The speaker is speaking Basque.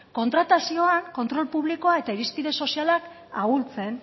kontratazioan kontrol publikoa eta irizpide sozialak ahultzen